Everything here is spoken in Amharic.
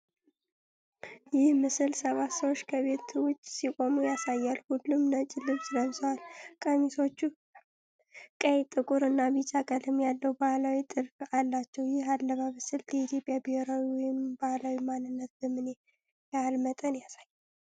ይህ ምስል ሰባት ሰዎች ከቤት ውጭ ሲቆሙ ያሳያል። ሁሉም ነጭ ልብስ ለብሰዋል፤ ቀሚሶቹ ቀይ፣ ጥቁር እና ቢጫ ቀለም ያለው ባህላዊ ጥልፍልፍ አላቸው። ይህ የአለባበስ ስልት የኢትዮጵያን ብሔራዊ ወይንም ባህላዊ ማንነት በምን ያህል መጠን ያሳያል?